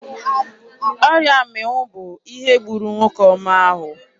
Ọrịa mmịnwụ bụ ihe gburu nwoke ọma ahụ.